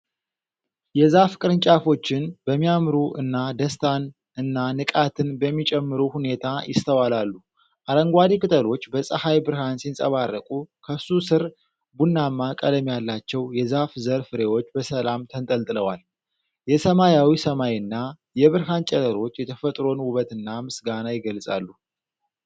የዛፍ ቅርንጫፎችን በሚያምሩ እና ደስታን እና ንቃትን በሚጨምሩ ሁኔታ ይስተዋላሉ። አረንጓዴ ቅጠሎች በፀሐይ ብርሃን ሲያንጸባርቁ፤ ከሱ ስር ቡናማ ቀለም ያላቸው የዛፍ ዘር ፍሬዎች በሰላም ተንጠልጥለዋል። የሰማያዊ ሰማይና የብርሃን ጨረሮች የተፈጥሮን ውበትና ምስጋና ይገልፃሉ።